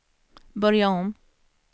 börja om